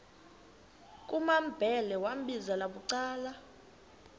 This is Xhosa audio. kumambhele wambizela bucala